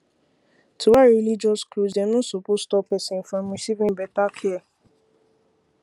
to wear religious cloths dem no suppose stop person from receiving better care